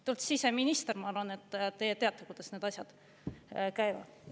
Te olete siseminister, ma arvan, et te teate, kuidas need asjad käivad.